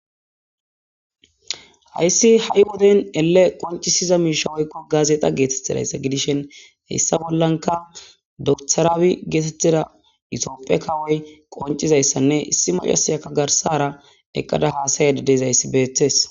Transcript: Haysi ha'i wode ele qonc'iza mishi woyko gazadha gidishin hesa bolanka dokter abiy getetida itophe kawoy qonc'isizaysanne issi mac'asiyaka garsara eqada hasa'ayda dizaysa beses.